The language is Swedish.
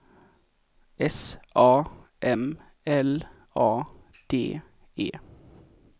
S A M L A D E